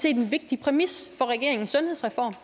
en vigtig præmis for regeringens sundhedsreform